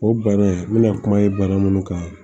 O bana n mɛna kuma ye bana munnu kan